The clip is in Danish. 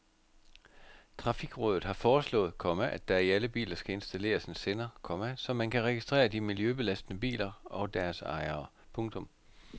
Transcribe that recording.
Trafikrådet har foreslået, komma at der i alle biler skal installeres en sender, komma så man kan registrere de miljøbelastende biler og deres ejere. punktum